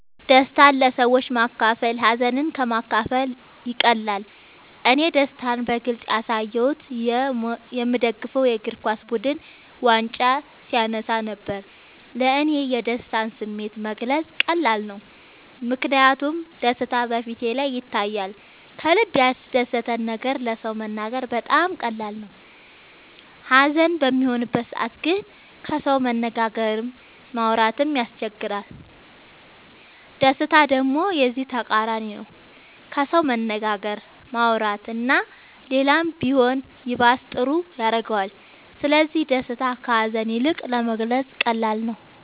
ደስታን ለሰዎች ማካፈል ሀዘንን ከ ማካፈል ይቀላል እኔ ደስታን በግልፅ ያሳየሁት የ ምደግፈው የ እግርኳስ ቡድን ዋንጫ ሲያነሳ ነበር። ለ እኔ የደስታን ስሜት መግለፅ ቀላል ነው ምክንያቱም ደስታ በ ፊቴ ላይ ይታያል ከልበ ያስደሰተን ነገር ለ ሰው መናገር በጣም ቀላል ነው ሀዘን በሚሆንበት ሰዓት ግን ከሰው መነጋገርም ማውራት ይቸግራል ደስታ ደሞ የዚ ተቃራኒ ነው ከሰው መነጋገር ማውራት እና ሌላም ቢሆን ይባስ ጥሩ ያረገዋል ስለዚ ደስታ ከ ሀዛን ይልቅ ለመግለፃ ቀላል ነው።